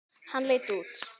Hann leit út.